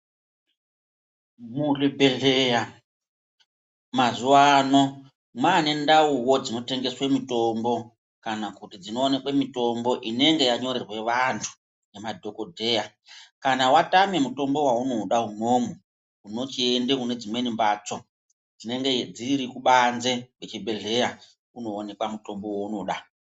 Muzvibhedhleya mazuwa ano mwaane ndauwuwo dzinotengeswa mitombo kana kuti dzinowanikwa mutombo inenge yanyorerwe vantu ngemadhokodheya. Kana watame mutombo wawunoda umwomwo unochienda kunedzimweni mbatso dzinenge dziri kubanze kwechibhedhleya kunoonekwa mutombo waunoda.